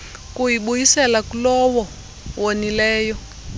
kuyibuyisela kulowo wonileyo